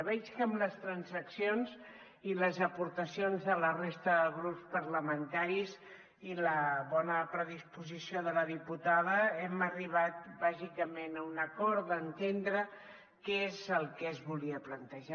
veig que amb les transaccions i les aportacions de la resta de grups parlamentaris i la bona predisposició de la diputada hem arribat bàsicament a un acord d’entendre què és el que es volia plantejar